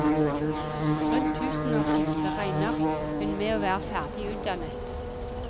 Rundt tusenårsskiftet regner hun med å være ferdig utdannet.